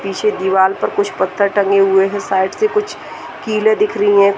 पीछे दीवाल पर कुछ पत्थर टंगे हुए है साइड से कुछ कीलें दिख रही है।